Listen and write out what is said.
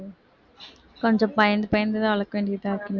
கொஞ்சம் பயந்து பயந்துதான் வளர்க்க வேண்டியதா இருக்கு